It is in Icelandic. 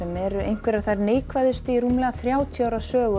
eru einhverjar þær neikvæðustu í rúmlega þrjátíu ára sögu